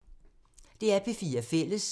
DR P4 Fælles